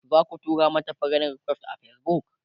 zaku tura mata friend request a Facebook?